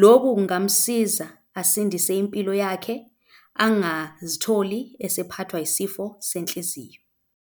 Loku kungamsiza, asindise impilo yakhe angazitholi esephathwa yisifo senhliziyo.